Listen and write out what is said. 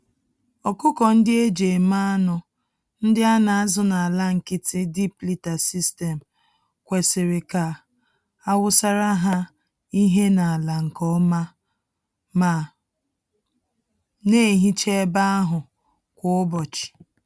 Ọkụkọ-ndị-eji-eme-anụ, ndị anazụ n'ala nkịtị, (deep liter system) kwesịrị ka awusara ha ihe n'ala nke ọma ma nehicha ebe ahụ kwa ụbọchị.